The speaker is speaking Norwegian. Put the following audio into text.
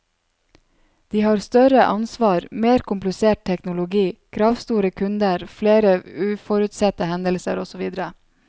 De har større ansvar, mer komplisert teknologi, kravstore kunder, flere uforutsette hendelser osv.